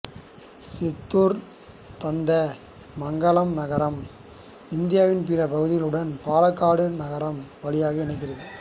சிற்றூர்தாத்தமங்கலம் நகரம் இந்தியாவின் பிற பகுதிகளுடன் பாலக்காடு நகரம் வழியாக இணைகிறது